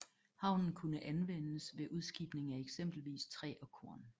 Havnen kunne anvendes ved udskibning af eksempelvis træ og korn